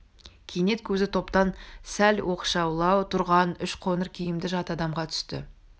кенет көзі топтан сәл оқшаулау тұрған үш қоңыр киімді жат адамға түсті